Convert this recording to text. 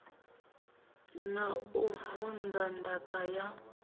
na u vunḓa ndaka ya